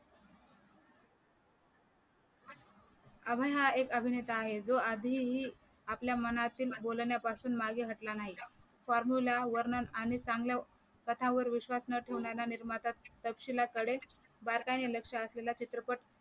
अभय देओल हा एक अभिनेता आहे जो आधीही मनाचे बोलण्यापासून मागे हटला नाही formula वर्णन आणि चांगल्या कशावर विश्वास न ठेवणारा निर्माता तपशीलाकडे बारकाईने लक्ष असलेला चित्रपट